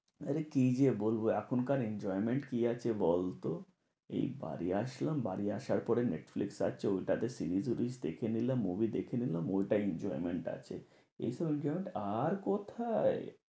আরে কি যে বলবো? এখনকার enjoyment কি আছে বলতো? এই বাড়ি আসলাম বাড়ি আসার পরে নেটফ্লিক্স আছে ওইটা তে series বিড়িস দেখে নিলাম, movie দেখে নিলাম, ওইটাই enjoyment আছে। এইসব enjoyment আর কোথায়?